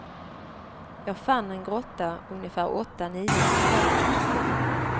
Jag fann en grotta, ungefär åtta nio kvadratmeter stor.